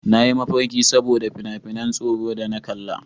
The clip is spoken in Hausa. Na yi mafarki saboda fin na ban tsoro da na kalla